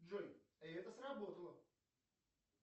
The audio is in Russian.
джой и это сработало